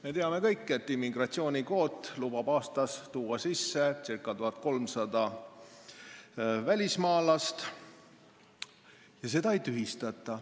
Me teame kõik, et immigratsioonikvoot lubab aastas tuua sisse ca 1300 välismaalast, ja seda ei tühistata.